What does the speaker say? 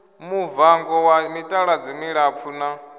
muvango wa mitaladzi milapfu na